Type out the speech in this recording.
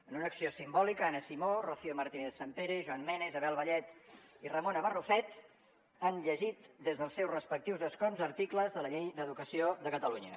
en una acció simbòlica anna simó rocío martínez sampere joan mena isabel vallet i ramona barrufet han llegit des dels seus respectius escons articles de la llei d’educació de catalunya